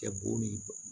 Kɛ bon ni